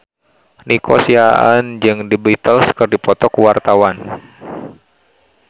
Nico Siahaan jeung The Beatles keur dipoto ku wartawan